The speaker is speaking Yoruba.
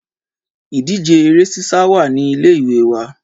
Ìdíje Eré sísá wà ní ilé ìwé wa